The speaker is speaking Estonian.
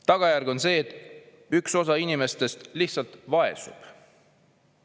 "Tagajärg on see, et üks osa inimestest lihtsalt vaesub.